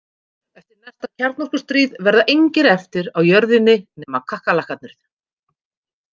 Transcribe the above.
Eftir næsta kjarnorkustríð verða engir eftir á jörðinni nema kakkalakkarnir.